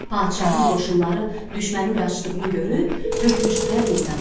Padşahın qoşunları düşmənin qaçdığını görüb, tökülüşdülər meydana.